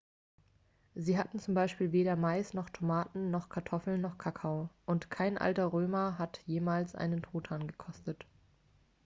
sie hatten zum beispiel weder mais noch tomaten noch kartoffeln noch kakao und kein alter römer hat jemals einen truthahn gekostet